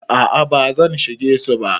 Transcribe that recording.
A'a ba zan shige su ba.